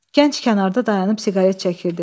Gənc kənarda dayanıb siqaret çəkirdi.